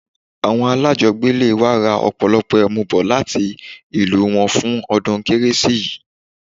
Awon alajogbele wa ra opolopo emu bo lati ilu won fun odun keresi yii